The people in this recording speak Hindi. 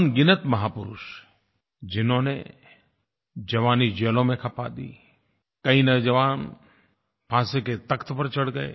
अनगिनत महापुरुष जिन्होंने जवानी जेलों में खपा दी कई नौजवान फांसी के तख़्त पर चढ़ गए